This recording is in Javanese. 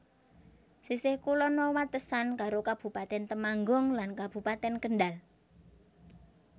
Sisih kulon wewatesan karo Kabupatèn Temanggung lan Kabupatèn Kendhal